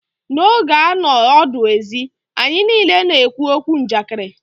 N'oge a nọ ọdụ ezi, anyị niile na-ekwu okwu Njakịrị.